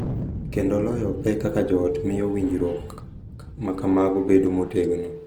Kendo loyo pek kaka joot miyo winjruok ma kamago bedo motegno .